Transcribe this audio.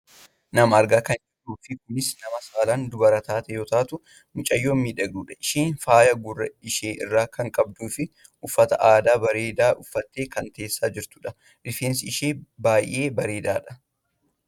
Nama argaa kan jirruufi kunis nama saalaan dubara taate yoo taatu mucayyoo miidhagduudha. Isheenis faaya gurra ishee irraa kan qabduufi uffata aadaa bareedaa uffattee kan teessee jirtudha. Rifeensi ishee baayyee dhedheeraadha.